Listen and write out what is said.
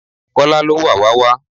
Kola ló wàwá wá